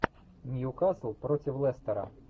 ньюкасл против лестера